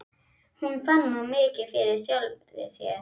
Hún fann of mikið fyrir sjálfri sér.